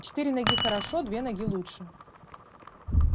четыре ноги хорошо две ноги лучше